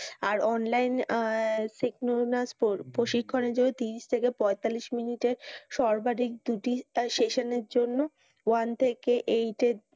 আর online senomina score প্রশিক্ষণের জন্য তিরিশ থেকে পয়তাল্লিশ মিনিটের সর্বাধিক দু তিনটা session এর জন্য one থেকে eight এর.